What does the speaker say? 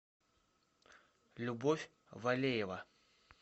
любовь валеева